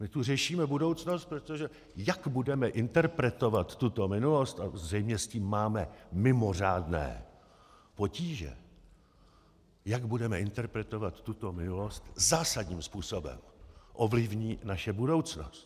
My tu řešíme budoucnost, protože jak budeme interpretovat tuto minulost - a zřejmě s tím máme mimořádné potíže - jak budeme interpretovat tuto minulost, zásadním způsobem ovlivní naši budoucnost.